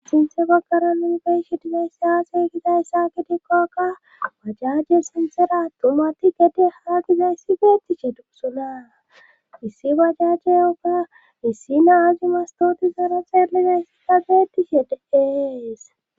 Sinthe baggara nubeyshidine issaaseygiza yssa kitikkokka bajaje sinsera tumati gede haagiza issi beettiche dugusunaa issi bajaje yoga issi naazi mastooti zara xeeliza issi kageetishe de'ees.